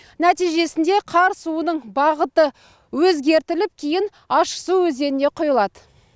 нәтижесінде қар суының бағыты өзгертіліп кейін ащысу өзеніне құйылады